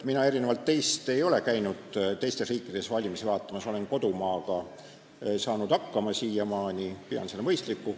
Mina erinevalt teist ei ole käinud teistes riikides valimisi vaatamas, olen siiamaani saanud hakkama kodumaaga, pean seda mõistlikuks.